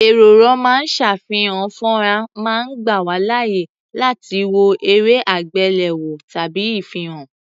Ẹ̀̀rọ ró máa ń ṣàfihàn fọ́nrán máa ń gbà wá láàyè láti wo erẹ́-àgbéléwò tàbí ìfihàn.